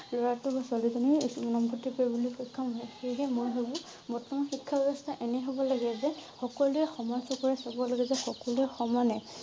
লৰা টো বা ছোৱালী জনি নাম ভৰ্তি কৰিবলৈ সক্ষম হয়। সেই হে মই ভাবো বৰ্তমান শিক্ষা ব্যবস্থা এনে হব লগে যে সকলোৱে সমান চকুৰে চাব লাগে যে সকলোৱে সমানে